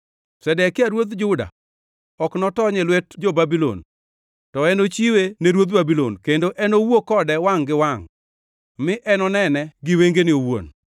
Zedekia ruodh Juda ok notony e lwet jo-Babulon to enochiwe ne ruodh Babulon, kendo enowuo kode wangʼ gi wangʼ mi enonene gi wengene owuon.